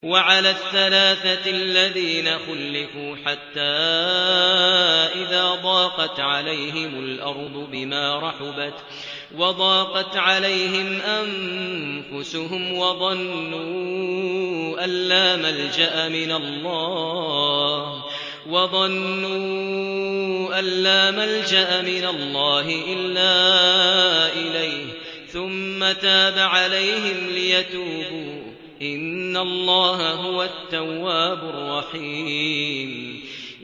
وَعَلَى الثَّلَاثَةِ الَّذِينَ خُلِّفُوا حَتَّىٰ إِذَا ضَاقَتْ عَلَيْهِمُ الْأَرْضُ بِمَا رَحُبَتْ وَضَاقَتْ عَلَيْهِمْ أَنفُسُهُمْ وَظَنُّوا أَن لَّا مَلْجَأَ مِنَ اللَّهِ إِلَّا إِلَيْهِ ثُمَّ تَابَ عَلَيْهِمْ لِيَتُوبُوا ۚ إِنَّ اللَّهَ هُوَ التَّوَّابُ الرَّحِيمُ